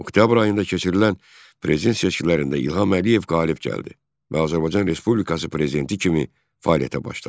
Oktyabr ayında keçirilən prezident seçkilərində İlham Əliyev qalib gəldi və Azərbaycan Respublikası prezidenti kimi fəaliyyətə başladı.